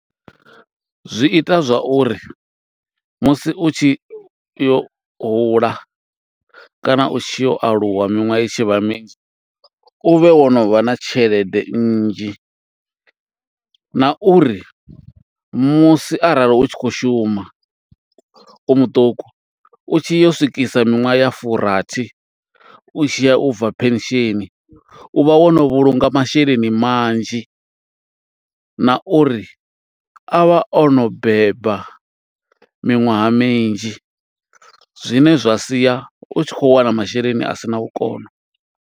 Zwi ita zwa uri, musi u tshi yo hula kana u tshi yo aluwa miṅwaha i tshi vha minzhi, u vhe wo no vha na tshelede nnzhi. Na uri musi arali u tshi khou shuma u muṱuku, u tshi yo swikisa miṅwaha ya furathi, u tshiya u bva pension. U vha wo no vhulunga masheleni manzhi, na uri a vha o no beba miṅwaha minzhi. Zwine zwa sia u tshi khou wana masheleni a sina vhukono.